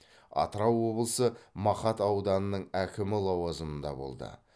атырау облысы мақат ауданының әкімі лауазымында болды